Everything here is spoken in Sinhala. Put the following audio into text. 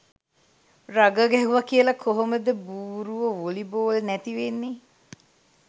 රගර් ගැහුව කියල කොහොමද බූරුවො වොලි බෝල් නැති වෙන්නෙ.